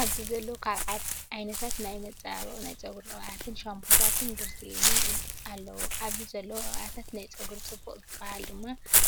ኣብዚ ዘለው ካብ ዓይነታት ናይ መፃባበቅትን ናይ ፀጉሪ ቅብኣተን ሻፖታትን ግረስሊን ኣለው። ኣብዚ ዘለው ቅብኣታት ናይ ፀጉር ፅቡቅ ዝበሃል ድማ